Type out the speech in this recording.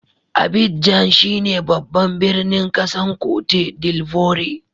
Abidjan shine babban birnin kasan Cote D'Ivoire.